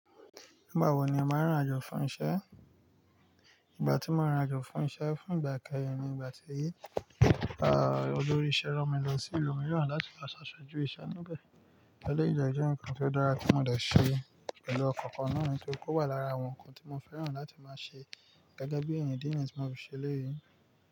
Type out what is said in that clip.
Nígbà wo ni o máa ń ririnajo fún iṣẹ́? Ìgbà tí mo ririnajọ fún iṣẹ́ fún ìgbà ikeyin ni nígbà tí olórí isẹ́ rán mi lọ sí ìlú mìíràn láti lo ṣà aṣojù iṣẹ́ níbẹ̀. Ẹ̀leyìí de jẹ́ ǹkan tó dára tí mo dẹ̀ ṣe pẹ̀lú ọ̀kan-kan na nitoripe o wà lára àwọn ǹkan tí mo fẹ́ràn láti máa ṣe gẹ́gẹ́ bí èèyàn idi ni tí mo fi ṣe eleyii.